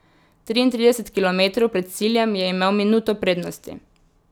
Triintrideset kilometrov pred ciljem je imel minuto prednosti.